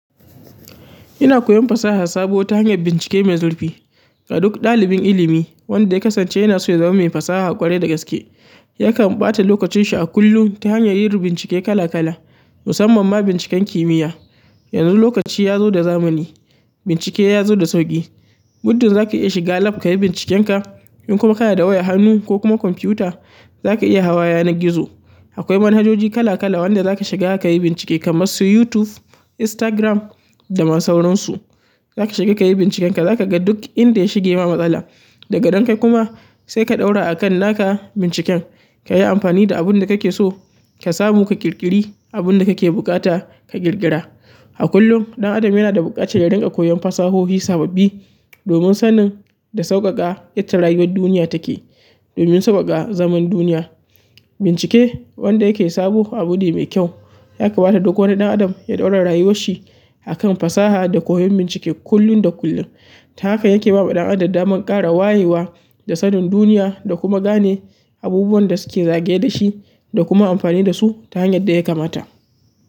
Ina koyon fasaha sabo ta hanyar bincike mai zurfi. A duk ɗalibin ilimi wanda ya kasance yana so ya zama mai fasaha ƙwarai da gaske, yakan ɓata lokacin shi a kullum ta hanyar yin bincike kala kala, musamman ma binciken kimiyya. Yanzu lokaci ya zo da zamani, bincike ya zo da sauƙi. Muddun za ka iya shiga lab ka yi bincikenka. In kuma ka na da wayar hannu ko kuma kwamfuta, za ka iya hawa yanar gizo. Akwai manhajoji kala kala wanda za ka shiga ka yi bincike kamar su YouTube, Instagram da masu sauransu. Za ka shiga ka yi bincikenka, za ka ga duk inda ya shige ma matsala. Daga nan kai kuma sai ka ɗaura a kan naka binciken. Kayi amfani da abin da kake so, ka samu ka kirkiri abunda kake bukata ka ƙirƙira. A kullum ɗan adam yana da buƙatar yarin ka koyon fasahohi sababbi domin sanin da sauƙaƙa yadda rayuwar duniya take. Domin sau'waka zaman duniya bincike wanda yake sabo abu ne mai kyau. Yakamata duk wani ɗan adam ya ɗaura rayuwar shi a kan fasaha da koyon bincike kullum da kullum. Ta haka yake ba wa ɗan adam daman ƙara wayewa da sanin duniya da kuma gane abubuwan da suke zagaye da shi da kuma amfani da su ta hanyar da ya kamata.